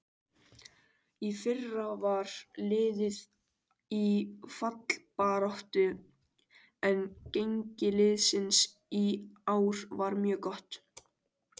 Í fyrra var liðið í fallbaráttu en gengi liðsins í ár var mjög gott.